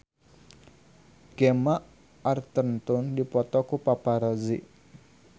Gemma Arterton dipoto ku paparazi